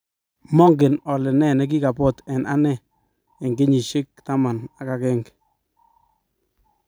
Mongen ole ne nekikabot eng ane eng kenyishek taman ak agenge